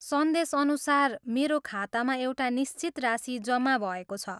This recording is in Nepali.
संदेशअनुसार, मेरो खातामा एउटा निश्चित राशि जम्मा भएको छ।